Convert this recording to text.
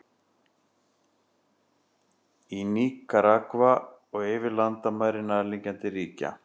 Í Níkaragva og yfir landamæri nærliggjandi ríkja.